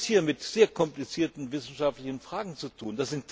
Wir haben es hier mit sehr komplizierten wissenschaftlichen Fragen zu tun.